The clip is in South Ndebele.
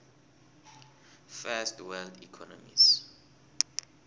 first world economies